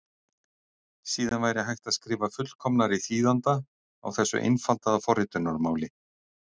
Síðan væri hægt að skrifa fullkomnari þýðanda á þessu einfaldaða forritunarmáli.